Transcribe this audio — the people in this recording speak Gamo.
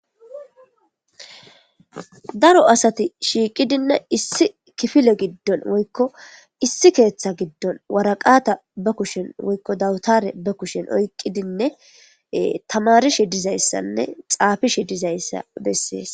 daro asati shiiqidinne issi kifile giddon woykko issi keeththa giddon waraqata ba kushen woykko dawutare ba kushen oyqqidinne tamarishi dizayssanne xaafishi dizayssa bessees